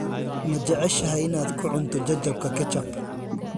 Ma jeceshahay inaad ku cunto jajabka ketchup?